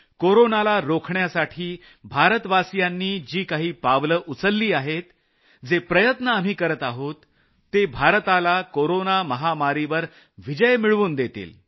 कोरोनाला रोखण्यासाठी भारतवासियांनी जी काही पावलं उचलली आहेत जे प्रयत्न आपण करत आहोत ते भारताला कोरोना महामारीवर विजय मिळवून देतील